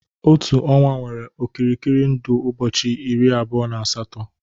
Otu ọnwa nwere okirikiri ndụ ụbọchị iri abụọ na asatọ